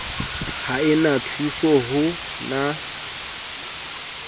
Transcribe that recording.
ha e na thusoho na